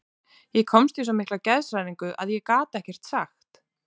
Ég komst í svo mikla geðshræringu að ég gat ekkert sagt.